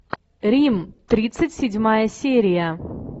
рим тридцать седьмая серия